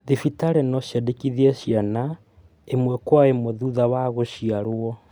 Thibitarĩ no ciandĩkithie ciana ĩmwe kwa ĩmwe thutha wa gũciarwo.